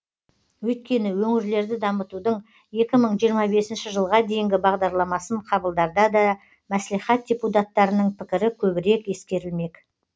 өйткені өңірлерді дамытудың екі мың жиырма бесінші жылға дейінгі бағдарламасын қабылдарда да мәслихат депутаттарының пікірі көбірек ескерілмек